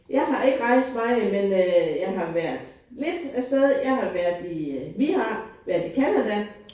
Jeg har ikke rejst meget men øh jeg har været lidt afsted jeg har været i vi har været i Canada